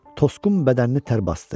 Tosqun bədənini tərb basdı.